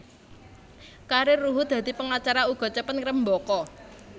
Karir Ruhut dadi pengacara uga cepet ngrembaka